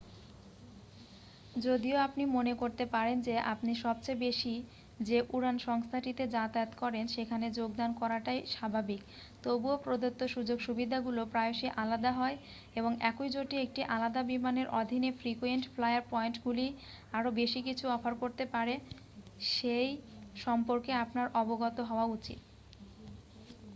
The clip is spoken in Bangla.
যদিও আপনি মনে করতে পারেন যে আপনি সবচেয়ে বেশি যে উড়ান সংস্থাটিতে যাতায়াত করেন সেখানে যোগদান করাটাই স্বাভাবিক তবুও প্রদত্ত সুযোগ-সুবিধাগুলি প্রায়শই আলাদা হয় এবং একই জোটে একটি আলাদা বিমানের অধীনে ফ্রিকুয়েন্ট ফ্লায়ার পয়েন্টগুলি আরও বেশি কিছু অফার করতে পারে সেই সম্পর্কে আপনার অবগত হওয়া উচিত